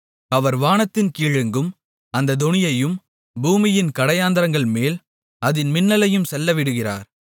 அவர் வானத்தின் கீழெங்கும் அந்தத் தொனியையும் பூமியின் கடையாந்தரங்கள்மேல் அதின் மின்னலையும் செல்லவிடுகிறார்